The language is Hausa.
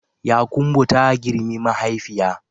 Yakumbo ta girmi mahaifiya